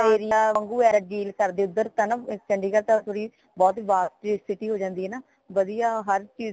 area ਵਾਂਗੂ ਇਹ deal ਕਰਦੇ ਹੈਂਗੇ ਓਧਰ ਤਾ ਨਾ ਚੰਡੀਗੜ ਤਤਾ ਥੋੜੀ ਬਹੁਤ ਹੀ vast ਜੀ city ਹੋ ਜਾਂਦੀ ਹੈ ਨਾ ਵਧੀਆ ਹਰ ਚੀਜ